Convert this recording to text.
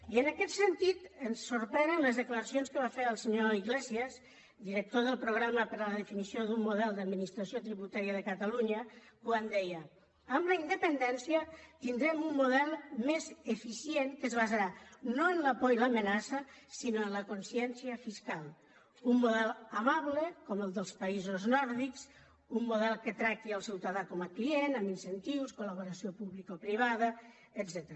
i en aquest sentit ens sorprenen les declaracions que va fer el senyor iglesias director del programa per la definició d’un model d’administració tributària de catalunya quan deia amb la independència tindrem un model més eficient que es basarà no en la por i l’amenaça sinó en la consciència fiscal un model amable com el dels països nòrdics un model que tracti el ciutadà com a client amb incentius col·publicoprivada etcètera